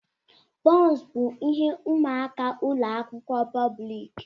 Bọns bụ ihe ụmụaka ụlọ akwụkwọ pọblik.